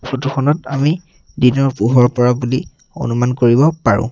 Photo খনত আমি দিনৰ পোহৰ পৰা বুলি অনুমান কৰিব পাৰোঁ।